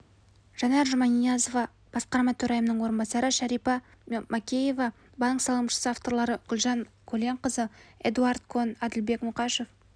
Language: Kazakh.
жанар жұманиязова басқарма төрайымының орынбасары шәрипа макеева банк салымшысы авторлары гүлжан көленқызы эдуард кон әділбек мұқашев